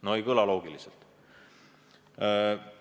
No ei kõla loogiliselt!